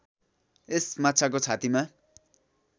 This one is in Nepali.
यस माछाको छातीमा